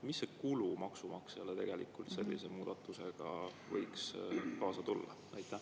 Milline kulu maksumaksjale sellise muudatusega võiks kaasa tulla?